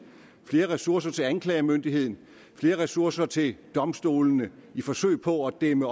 flere ressourcer til anklagemyndigheden og flere ressourcer til domstolene i forsøget på at dæmme